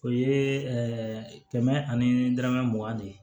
O ye kɛmɛ ani dɔrɔmɛ mugan de ye